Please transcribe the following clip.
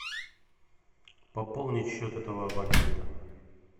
пополнить счет этого абонента